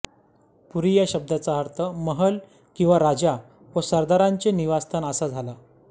पुरी या शब्दाचा अर्थ महल किंवा राजा व सरदारांचे निवासस्थान असा झाला